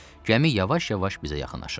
Gəmi yavaş-yavaş bizə yaxınlaşırdı.